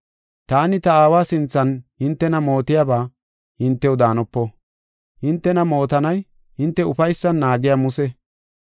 “Taani ta Aawa sinthan hintena mootiyaba hintew daanopo. Hintena mootanay hinte ufaysan naagiya Muse.